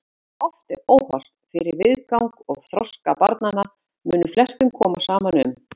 Hversu þetta er óhollt fyrir viðgang og þroska barnanna mun flestum koma saman um.